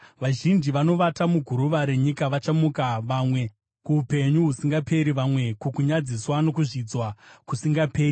Vazhinji vanovata muguruva renyika vachamuka: vamwe kuupenyu husingaperi, vamwe kukunyadziswa nokuzvidzwa kusingaperi.